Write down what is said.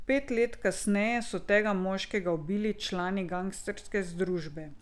Pet let kasneje so tega moškega ubili člani gangsterske združbe.